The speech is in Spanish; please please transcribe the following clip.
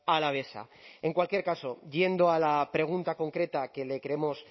alavesa en cualquier caso yendo a la pregunta concreta que le queremos